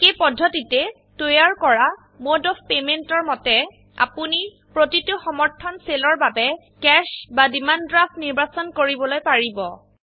একেই পদ্ধতিতে তৈয়াৰ কৰা মোড অফ পেমেন্টৰ মতে আপোনিপ্ৰতিটো সমৰ্থনসেলৰ বাবেCash বা ডিমাণ্ড ড্ৰাফ্ট নিৰ্বাচন কৰিবলৈ পাৰিব